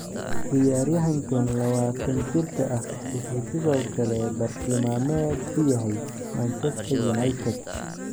Ciyaaryahankan lawatan jirka ah wuxuu sidoo kale bartilmaameed u yahay Manchester United.